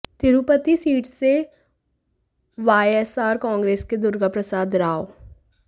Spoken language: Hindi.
तिरुपति सीट से वायएसआर कांग्रेस के दुर्गा प्रसाद राव